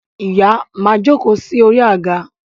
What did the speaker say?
Ìyá máa jókòó sórí àga